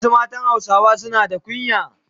Wasu matan Hausawa suna na kunya.